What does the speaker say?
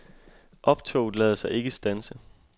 Optoget lader sig ikke standse.